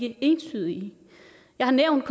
entydige jeg har nævnt